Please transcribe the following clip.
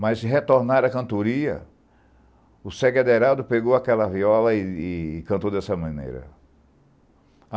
Mas, em retornar à cantoria, o Ségue Aderado pegou aquela viola e cantou dessa maneira.